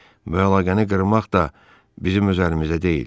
Bu əlaqəni qırmaq da bizim öz əlimizdə deyil.